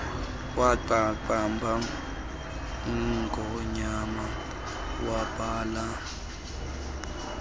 waqamba ingonyana wabhala